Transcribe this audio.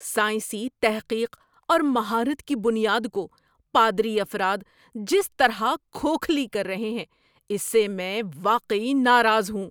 سائنسی تحقیق اور مہارت کی بنیاد کو پادری افراد جس طرح کھوکھلی کر رہے ہیں اس سے میں واقعی ناراض ہوں۔